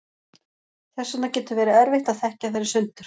þess vegna getur verið erfitt að þekkja þær í sundur